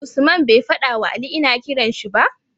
Usman be fada wa Ali ina kiranshi ba?